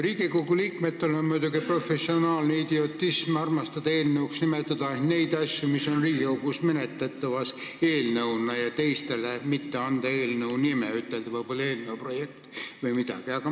Riigikogu liikmetel on professionaalsest idiotismist komme nimetada eelnõuks neid asju, mis on Riigikogus menetletavad eelnõuna, ja teistele mitte anda eelnõu nime ja öelda "eelnõu projekt" või midagi sellist.